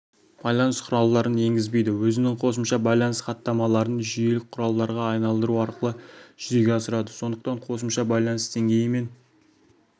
байланыс құралдарын енгізбейді өзінің қосымша байланыс хаттамаларын жүйелік құралдарға айналдыру арқылы жүзеге асырады сондықтан қосымша байланыс деңгейі мен